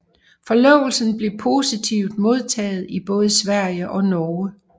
Forlovelsen blev positivt modtaget i både Sverige og Norge